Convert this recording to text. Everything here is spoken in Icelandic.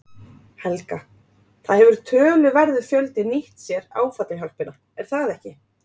Helga: Það hefur töluverður fjöldi nýtt sér áfallahjálpina er það ekki?